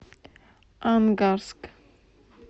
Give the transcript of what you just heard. ангарск